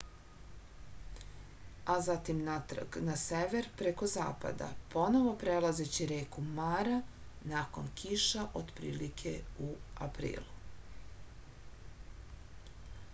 a zatim natrag na sever preko zapada ponovo prelazeći reku mara nakon kiša otprilike u aprilu